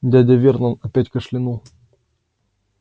дядя вернон опять кашлянул